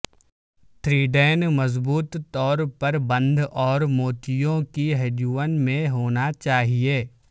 تھریڈیں مضبوط طور پر بند اور موتیوں کی ہڈیوں میں ہونا چاہئے